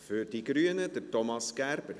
Für die Grünen, Thomas Gerber.